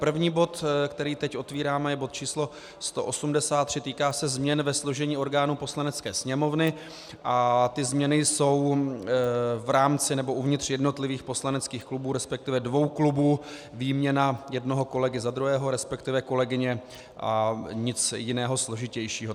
První bod, který teď otvíráme, je bod číslo 183, týká se změn ve složení orgánů Poslanecké sněmovny a ty změny jsou v rámci nebo uvnitř jednotlivých poslaneckých klubů, respektive dvou klubů, výměna jednoho kolegy za druhého, respektive kolegyně, a nic jiného, složitějšího.